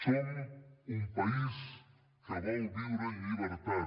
som un país que vol viure en llibertat